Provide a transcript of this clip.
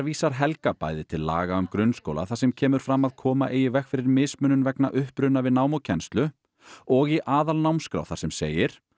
vísar Helga bæði til laga um grunnskóla þar sem kemur fram að koma eigi í veg fyrir mismunun vegna uppruna við nám og kennslu og í aðalnámskrá þar sem segir